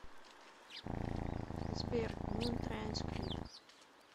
сбер мун транс клип